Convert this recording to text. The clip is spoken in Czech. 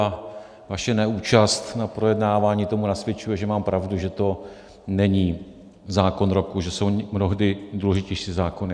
A vaše neúčast na projednávání tomu nasvědčuje, že mám pravdu, že to není zákon roku, že jsou mnohdy důležitější zákony.